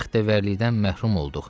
Bu bəxtəvərlikdən məhrum olduq.